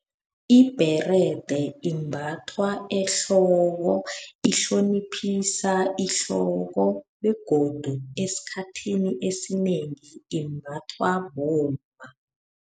Ibherede imbathwa ehloko, ihloniphisa ihloko, begodu esikhathini esinengi imbathwa bomma.